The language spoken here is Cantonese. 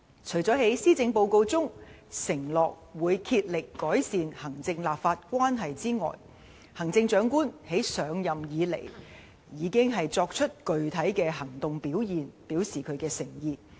除了在施政報告中承諾會竭力改善行政立法關係外，行政長官自上任以來已經作出具體行動表示她的誠意。